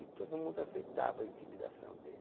E todo mundo aceitava a intimidação dele.